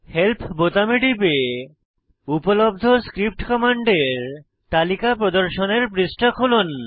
help বোতামে টিপে উপলব্ধ স্ক্রিপ্ট কমান্ডের তালিকা প্রদর্শনের পৃষ্ঠা খুলুন